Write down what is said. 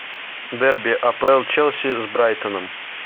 дерби апл челси с брайтоном